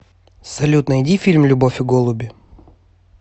салют найди фильм любовь и голуби